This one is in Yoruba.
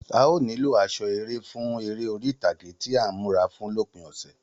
A óò nílò aṣọ eré fún eré orí ìtàgé tí à ń múra fún lópin ọ̀sẹ̀